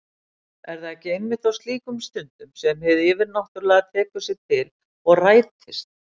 Er það ekki einmitt á slíkum stundum sem hið yfirnáttúrlega tekur sig til og rætist?